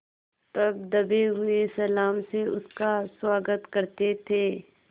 तब दबे हुए सलाम से उसका स्वागत करते थे